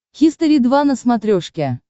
хистори два на смотрешке